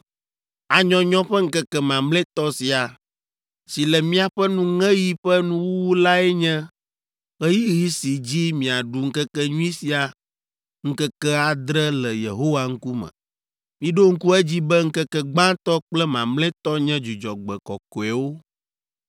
“ ‘Anyɔnyɔ ƒe ŋkeke mamlɛtɔ sia, si le miaƒe nuŋeɣi ƒe nuwuwu lae nye ɣeyiɣi si dzi miaɖu ŋkekenyui sia ŋkeke adre le Yehowa ŋkume. Miɖo ŋku edzi be ŋkeke gbãtɔ kple mamlɛtɔ nye dzudzɔgbe kɔkɔewo.